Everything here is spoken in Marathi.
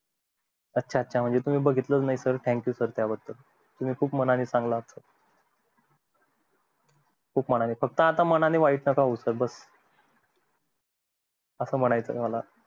अच्छा अच्छा तुम्ही बघितलं च नई thank you sir त्या बद्दल तुम्ही मनानी खूप चांगले आहात sir खूप मनानी फक्त आता मनानी वाईट नका होऊ sir असं म्णायचंय मला